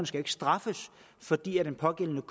skal ikke straffes fordi den pågældende